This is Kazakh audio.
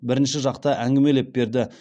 бірінші жақта әңгімелеп берді